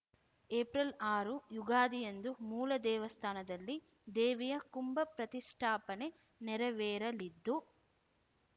April ಆರು ಯುಗಾದಿಯಂದು ಮೂಲ ದೇವಸ್ಥಾನದಲ್ಲಿ ದೇವಿಯ ಕುಂಭ ಪ್ರತಿಷ್ಠಾಪನೆ ನೆರವೇರಲಿದ್ದು